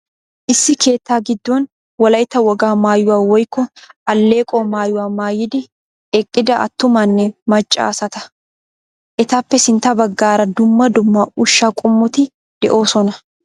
Issi keettaa giddon wolayitta wogaa maayuwaa woyikko alleeqo maayuwa maayidi eqqida attumanne macca asata. Etappe sintta baggaara dumma dumma ushsha qommoti de'oosona.